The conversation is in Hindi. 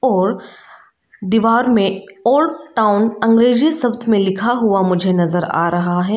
और दीवार में ओल्ड टाउन अंग्रेजी शब्द में लिखा हुआ मुझे नजर आ रहा है।